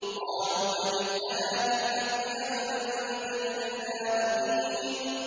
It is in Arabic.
قَالُوا أَجِئْتَنَا بِالْحَقِّ أَمْ أَنتَ مِنَ اللَّاعِبِينَ